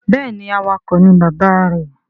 Béèni awakọ̀ ni bàbá rẹ.